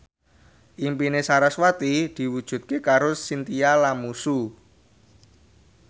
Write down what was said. impine sarasvati diwujudke karo Chintya Lamusu